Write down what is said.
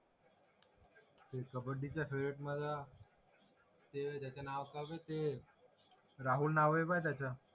ते कबड्डीचा फेव्हरेट माझा त्याच नाव काय होत ते राहुल नाव ब त्याच